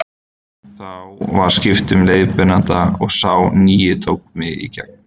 Þá var skipt um leiðbeinanda og sá nýi tók mig í gegn.